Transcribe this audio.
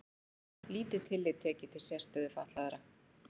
Lítið tillit tekið til sérstöðu fatlaðra